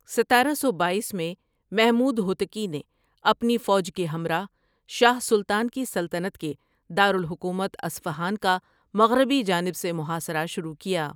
ستارہ سو بایس میں محمود ہوتکی نے اپنی فوج کے ہمراہ شاہ سلطان کی سلطنت کے دار الحکومت اصفہان کا مغربی جانب سے محاصرہ شروع کیا ۔